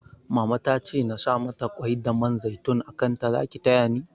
Mama tace nasa mata kwai da man zaitun a kanta Zaki tayani?